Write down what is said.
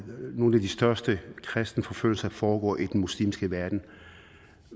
nogle af de største kristenforfølgelser foregår i den muslimske verden